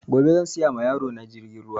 Gobe zan siya ma yaro na jirgin ruwa